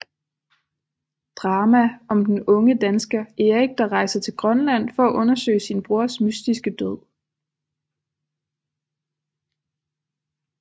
Drama om den unge dansker Erik der rejser til Grønland for at undersøge sin brors mystiske død